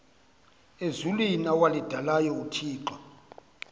ezulwini awalidalayo uthixo